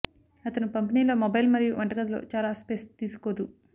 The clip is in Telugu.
అతను పంపిణీలో మొబైల్ మరియు వంటగది లో చాలా స్పేస్ తీసుకోదు